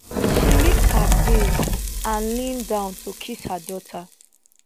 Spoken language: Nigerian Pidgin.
she lift her veil and lean down to kiss her daughter